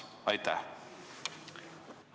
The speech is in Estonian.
Aitäh!